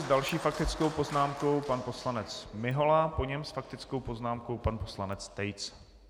S další faktickou poznámkou pan poslanec Mihola, po něm s faktickou poznámkou pan poslanec Tejc.